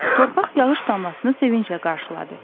Torpaq yağış damlasını sevinclə qarşıladı.